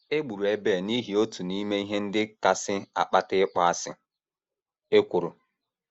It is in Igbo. E gburu Ebel n’ihi otu n’ime ihe ndị kasị akpata ịkpọasị: ekworo.